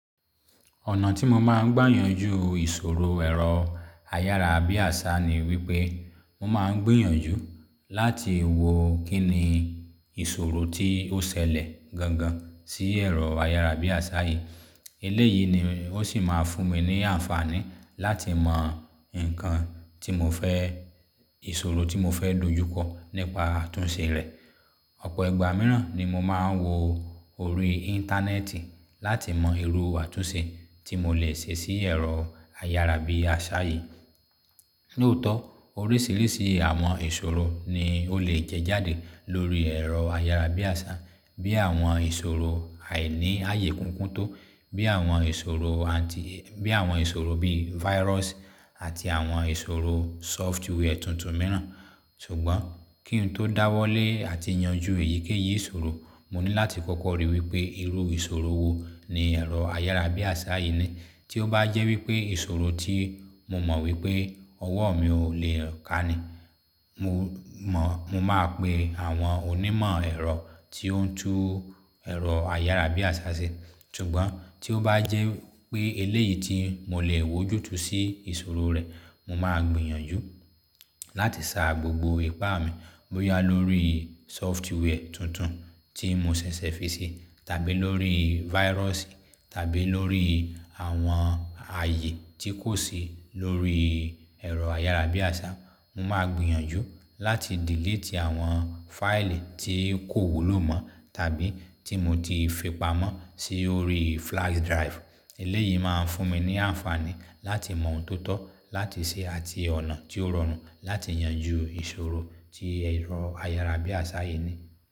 Ọ̀nà tí mo máa ń gbà yanjú ìṣòro ẹ̀rọ ayárabíàṣá ni wípé, mo máa ń gbìyànjú láti wo kín ni ìṣòro tí ó ṣẹlẹ̀ gangan sí ẹ̀rọ ayárabíàṣá yìí. Eléyìí ni ó sì máa fún mi ní àǹfààní láti mọ nǹkan tí mo fẹ́, ìṣòro tí mo fẹ́ dojúkọ nípa àtúnṣe rẹ̀. Ọ̀pọ̀ igba mìíràn ni mo máa ń wo orí Íńtánẹ́ẹ̀tì láti mọ irú àtúnṣe tí mo lè ṣe sí ẹ̀rọ ayárabíàṣá yìí. Lóótọ́ orísìírísìí àwọn ìṣòro ni ó lè jẹjáde lórí ẹ̀rọ ayárabíàṣá. Bí àwọn ìṣòro àìní ààyè kúkúń tó, bí àwọn ìṣòro anti, bí àwọn ìṣòro bí virus àti àwọn ìṣòro software tuntun mìíràn. Ṣùgbọ́n kí n tó dáwọ́lé àti yanjú èyíkéyìí ìṣòro, mo ní láti kọ́kọ́ ríi wípé irú ìṣòro wo ni ẹ̀rọayárabíàṣá yìí ní. Tí ó bá jẹ́ wípé ìṣòro tí mo mọ̀ wípé ọwọ́ mi ò lè kàá ni, mo mọ̀, mo máa pe àwọn onímọ̀ ẹ̀rọ tí ó ń tún ẹ̀rọ ayárabíaṣá ṣe. Ṣùgbọ́n tí ó bá jẹ́ pé eléyìí tí mo lè wójútú sí ìṣòro rẹ̀, mo máa gbìyànjú láti sa gbogbo ipá mi bóyá lórí software tuntun tí mo ṣẹ̀ṣẹ̀ fi ṣi, tàbí lórí virus, tàbí lórí àwọn ààyè tí kò sí lórí ẹ̀rọ ayárabíàṣá. Mo máa gbìyànjú láti delete àwọn fáìlì tí kò wúlò mọ́ tàbí tí mo ti fipamọ́ sí orí flash drive. Eléyìí máa ń fún mi ní àǹfààní láti mọ̀ ntọ̀ tọ̀ láti ṣe àti ọ̀nà tí ó rọrùn láti yanjú ìṣòro tí ẹ̀rọ ayárabíàṣá yìí ní.